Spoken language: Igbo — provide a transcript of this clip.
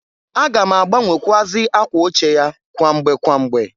A ga m agbanwekwụazị akwa oche ya kwamgbe kwamgbe.